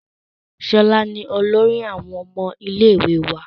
Ṣọlá ni olórí àwọn ọmọ ilé ìwé wa